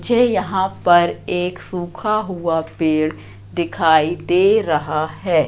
मुझे यहां पर एक सूखा हुआ पेड़ दिखाई दे रहा है।